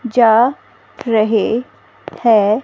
जा रहे हैं--